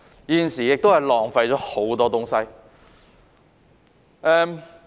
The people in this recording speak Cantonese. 現時浪費了很多東西。